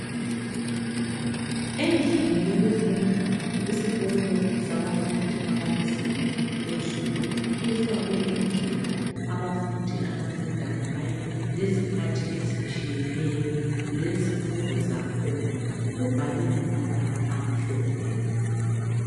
Endlini yokufunda esikolo, sabafundi abakuzinga eliphezulu. Kufakwe indlela abafundi abafunda ngayo, lezikhathi ezitshiyeneyo. Lezifundo zakhona. Kubhalwe ngamabala amhlophe.